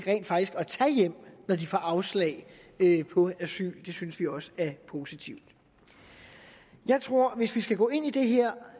at tage hjem når de får afslag på asyl og det synes vi også er positivt jeg tror hvis vi skal gå ind i det her